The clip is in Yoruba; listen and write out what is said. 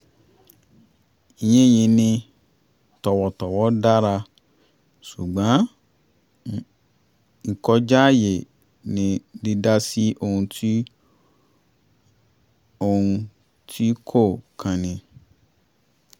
yín yin ni tọ̀wọ̀tọ̀wọ̀ dára ṣùgbọ́n ìkọjá àyè ni dídá sí ohun sí ohun tí kò kan ni